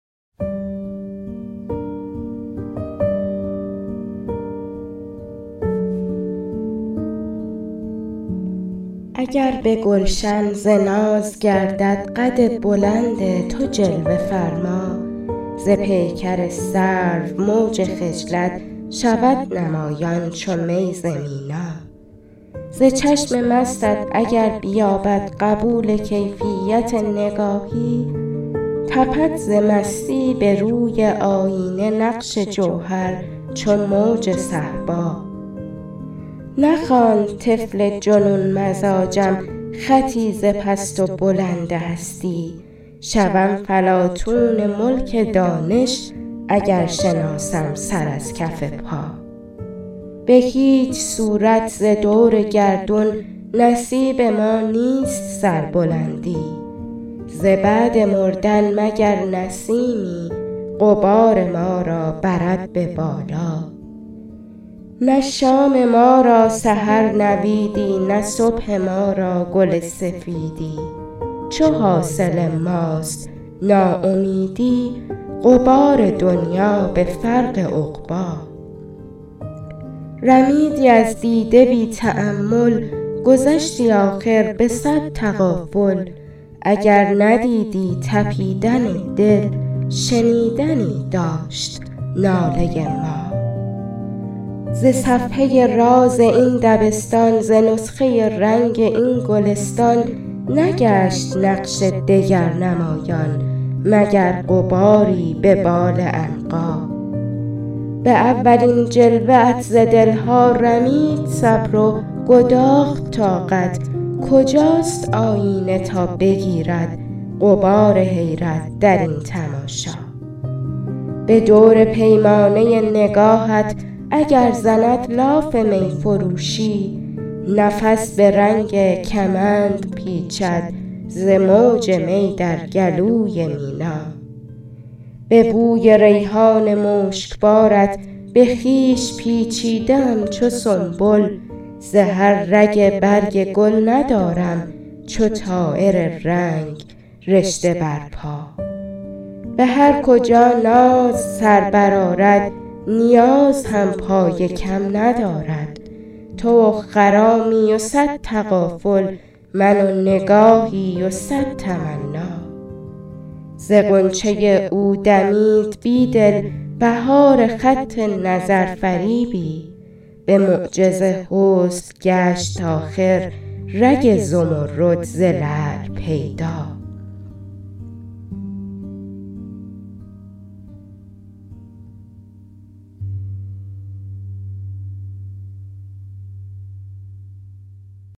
اگر به گلشن ز ناز گردد قد بلند تو جلوه فرما ز پیکر سرو موج خجلت شود نمایان چو می ز مینا ز چشم مستت اگر بیابد قبول کیفیت نگاهی تپد ز مستی به روی آیینه نقش جوهر چو موج صهبا نخواند طفل جنون مزاجم خطی ز پست و بلند هستی شوم فلاطون ملک دانش اگر شناسم سر از کف پا به هیچ صورت ز دور گردون نصیب ما نیست سربلندی ز بعد مردن مگر نسیمی غبار ما را برد به بالا نه شام ما را سحر نویدی نه صبح ما را گل سفیدی چو حاصل ماست ناامیدی غبار دنیا به فرق عقبا رمیدی از دیده بی تأمل گذشتی آخر به صد تغافل اگر ندیدی تپیدن دل شنیدنی داشت ناله ما ز صفحه راز این دبستان ز نسخه رنگ این گلستان نگشت نقش دگر نمایان مگر غباری به بال عنقا به اولین جلوه ات ز دل ها رمید صبر و گداخت طاقت کجاست آیینه تا بگیرد غبار حیرت درین تماشا به دور پیمانه نگاهت اگر زند لاف می فروشی نفس به رنگ کمند پیچد ز موج می در گلوی مینا به بوی ریحان مشک بارت به خویش پیچیده ام چو سنبل ز هر رگ برگ گل ندارم چو طایر رنگ رشته بر پا به هرکجا ناز سر برآرد نیاز هم پای کم ندارد تو و خرامی و صد تغافل من و نگاهی و صد تمنا ز غنچه او دمید بیدل بهار خط نظرفریبی به معجز حسن گشت آخر رگ زمرد ز لعل پیدا